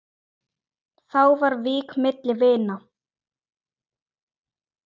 Þá var vík milli vina.